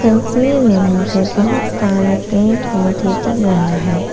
तस्वीर में मुझे बहोत सारे पेड़ पौधे दिख रहा है।